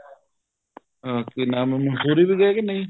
ਅਹ ਕੀ ਨਾਮ ਆ ਮੰਸੂਰੀ ਵੀ ਗਏ ਕੇ ਨਹੀਂ